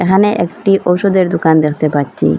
এখানে একটি ঔষধের দোকান দেখতে পাচ্ছি।